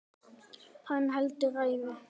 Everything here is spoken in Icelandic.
Hann heldur ræðu.